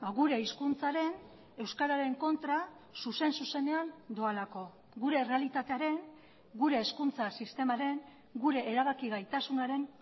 gure hizkuntzaren euskararen kontra zuzen zuzenean doalako gure errealitatearen gure hezkuntza sistemaren gure erabaki gaitasunaren